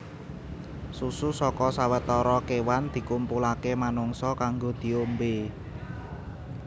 Susu saka sawetara kéwan dikumpulaké manungsa kanggo diombé